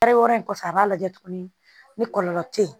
Tɔɔrɔ in kɔfɛ a b'a lajɛ tuguni ni kɔlɔlɔ tɛ ye